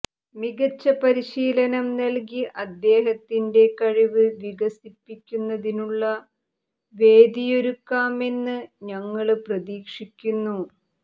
മികച്ച പരിശീലനം നല്കി അദ്ദേഹത്തിന്റെ കഴിവ് വികസിപ്പിക്കുന്നതിനുളള വേദിയൊരുക്കാമെന്ന് ഞങ്ങള് പ്രതീക്ഷിക്കുന്നു